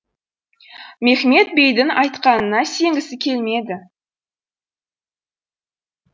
мехмет бейдің айтқанына сенгісі келмеді